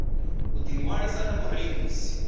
u ḓi ṅwalisa sa murengisi